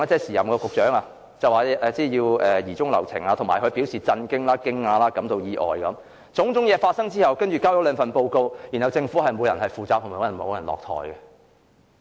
時任局長張炳良表示要疑中留情，但又表示震驚、驚訝、感到意外等，但種種問題發生後，政府只提交了兩份報告，卻沒有任何人需要為此負責和落台。